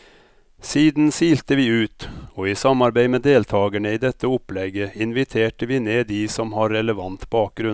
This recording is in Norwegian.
Siden silte vi ut, og i samarbeid med deltagerne i dette opplegget inviterte vi ned de som har relevant bakgrunn.